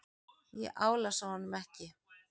Ég álasa honum ekki.